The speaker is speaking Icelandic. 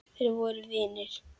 Þeir voru vinir.